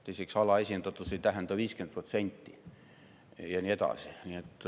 Teiseks, alaesindatus ei tähenda 50%, ja nii edasi.